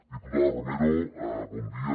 diputada romero bon dia